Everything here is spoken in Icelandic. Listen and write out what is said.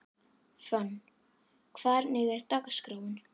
Fönn, hvernig er dagskráin?